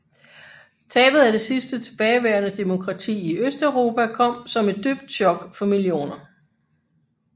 Tabet af det sidste tilbageværende demokrati i Østeuropa kom som et dybt chok for millioner